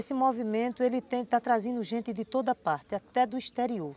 Esse movimento ele tem, está trazendo gente de toda parte, até do exterior.